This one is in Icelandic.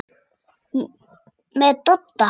Með Dodda?